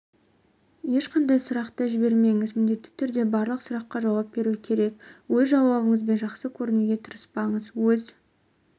ешқандай сұрақты жібермеңіз міндетті түрде барлық сұраққа жауап беру керек өз жауаптарыңызбен жақсы көрінуге тырыспаңыз өз